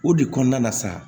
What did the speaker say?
O de kɔnɔna na sa